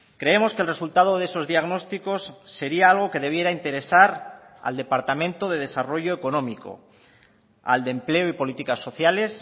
creemos que el resultado de esos diagnósticos sería algo que debiera interesar al departamento de desarrollo económico al de empleo y políticas sociales